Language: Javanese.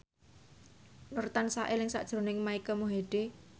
Nur tansah eling sakjroning Mike Mohede